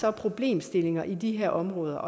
er problemstillinger i de her områder